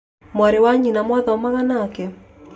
Mwarĩ wa nyina mwathomaga nake